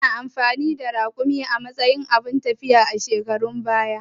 Ana amfani da Raƙumai a matsayin abun tafiya a shekarun baya